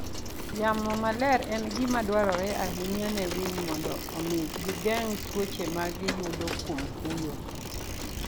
Yamo maler en gima dwarore ahinya ne winy mondo omi gigeng' tuoche ma giyudo kuom fuyo.